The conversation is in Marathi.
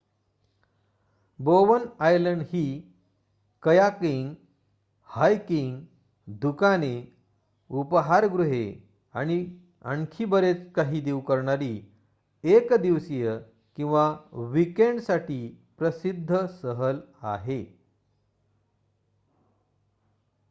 बोवन आयलंड ही कयाकिंग हायकिंग दुकाने उपहारगृहे आणि आणखी बरेच काही देऊ करणारी एक दिवसीय किंवा वीकेंडसाठी प्रसिद्ध सहल आहे